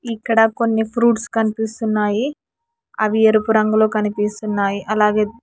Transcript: ఇక్కడ కొన్ని ఫ్రూట్స్ కనిపిస్తున్నాయి అవి ఎరుపు రంగులో కనిపిస్తున్నాయి అలాగే--